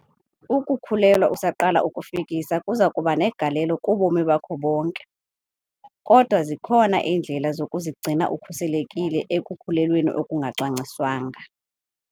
UKUKHULELWA USAQALA ukufikisa kuza kuba negalelo kubomi bakho bonke, kodwa zikhona iindlela zokuzigcina ukhuselekile ekukhulelweni okungacwangciswanga.